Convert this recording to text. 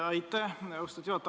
Aitäh, austatud juhataja!